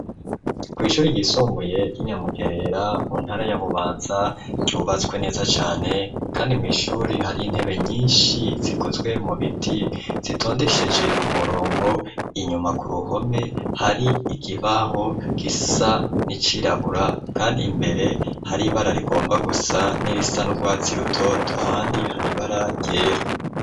Kw'ishuri ryisumbuye ry'i Nyamugerera, mu ntara ya Bubanza, ryubatswe neza cane kandi mw'ishuri hari intebe nyinshi zikozwe mu biti, zitondesheje umurongo, inyuma ku ruhome hari ikibaho gisa n'icirabura, kandi imbere hari ibara rigomba gusa n'irisa n'urwatsi rutoto, ahandi hari ibara ryera.